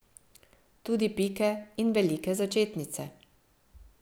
Tudi pike in velike začetnice.